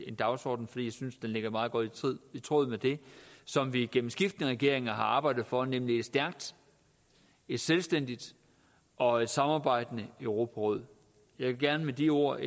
en dagsorden for jeg synes den ligger meget godt i tråd med det som vi gennem skiftende regeringer har arbejdet for nemlig et stærkt et selvstændigt og et samarbejdende europaråd jeg vil gerne med de ord